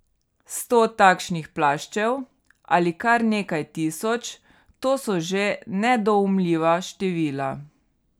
Sto takšnih plaščev, ali kar nekaj tisoč, to so že nedoumljiva števila.